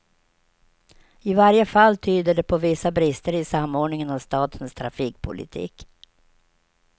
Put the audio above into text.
I varje fall tyder det på vissa brister i samordningen av statens trafikpolitik.